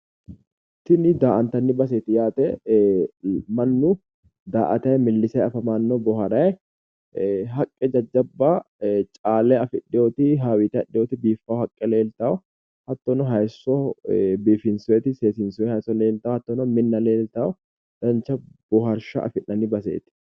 tinni daatanni baseeti yaate manu daatayi miilisay afamano booharayi haqe jajjabba calle afdhewooti hawiite biifawo leelitawo hayyisso biifisoyiti seesiisooyiti minna leeliitawo dancha booharrisha afinanni baseeti